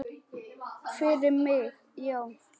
Fyrir mig, já.